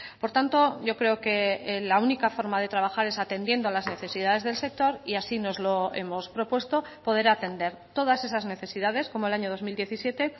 por tanto yo creo que la única forma de trabajar es atendiendo a las necesidades del sector y así nos lo hemos propuesto poder atender todas esas necesidades como el año dos mil diecisiete